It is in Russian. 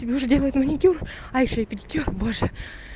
тебе уже делают маникюр а ещё и педикюр боже